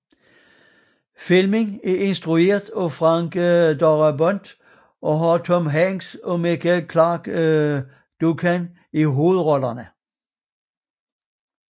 Filmen er instrueret af Frank Darabont og har Tom Hanks og Michael Clarke Duncan i hovedrollerne